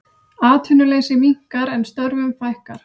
Atvinnuleysi minnkar en störfum fækkar